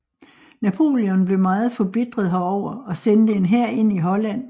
Napoleon blev meget forbitret herover og sendte en hær ind i Holland